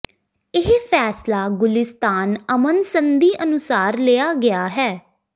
ਇਹ ਫੈਸਲਾ ਗੁਲਿਸਤਾਨ ਅਮਨ ਸੰਧੀ ਅਨੁਸਾਰ ਲਿਆ ਗਿਆ ਹੈ